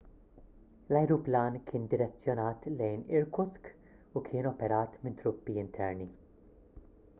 l-ajruplan kien direzzjonat lejn irkutsk u kien operat minn truppi interni